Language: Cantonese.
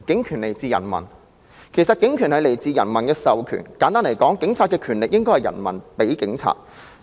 其實警權來自人民的授權，簡單來說，警察的權力是人民所賦予的。